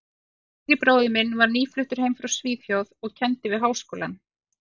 yngri bróðir minn var nýfluttur heim frá Svíþjóð og kenndi við Háskólann.